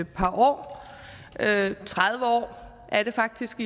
par år tredive år er det faktisk